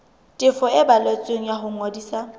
tefiso e balletsweng ya ngodiso